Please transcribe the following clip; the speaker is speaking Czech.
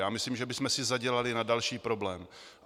Já myslím, že bychom si zadělali na další problém.